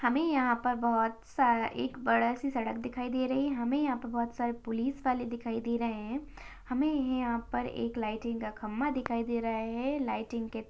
हमे यहाँ पर बहुत सा एक बड़ा सा सड़क दिखाई दे रही हमे यहाँ पर बहुत सारे पुलिस वाले दिखाई दे रहै है हमे यहाँ पर एक लाइटिंग का खंबा दिखाई दे रहा है लाइटिंग के--